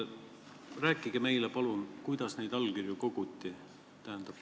Rääkige meile palun, kuidas neid allkirju koguti.